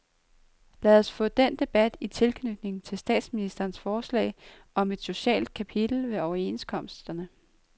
Lad os få den debat i tilknytning til statsministerens forslag om et socialt kapitel ved overenskomsterne.